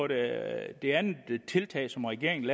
det andet tiltag som regeringen